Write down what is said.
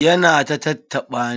Ya na ta tattaɓa ni.